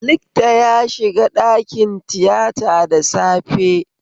Likta ya shiga ɗakin tiyata da safe